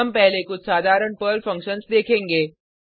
हम पहले कुछ साधारण पर्ल फंक्शन्स देखेंगे